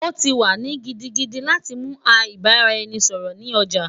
O ti wa ni gidigidi lati mu a ibaraẹnisọrọ ni oja